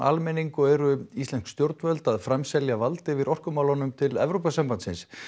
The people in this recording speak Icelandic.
almenning og eru íslensk stjórnvöld að framselja vald yfir orkumálunum til Evrópusambandsins